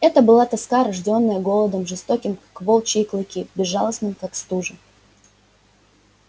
это была тоска рождённая голодом жестоким как волчьи клыки безжалостным как стужа